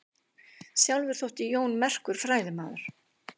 Sjálfur þótti Jón merkur fræðimaður.